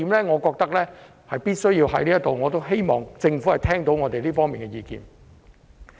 我覺得必須在此指出這一點，希望政府聽到我們這方面的意見。